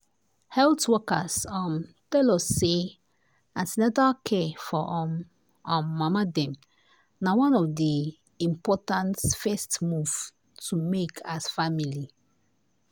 health workers um tell us say an ten atal care um for um um mama dem na one of the+ important first move to make as family.